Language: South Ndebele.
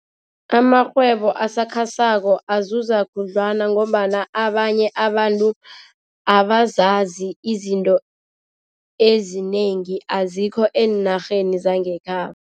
Amarhwebo asakhasako azuza khudlwana ngombana abanye abantu abazazi izinto ezinengi, azikho eenarheni zangekhabo.